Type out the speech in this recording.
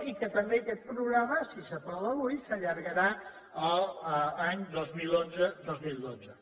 i que també aquest programa si s’aprova avui s’allargarà a l’any dos mil onze dos mil dotze